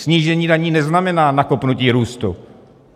Snížení daní neznamená nakopnutí růstu.